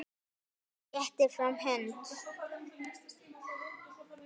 Hann réttir fram hönd.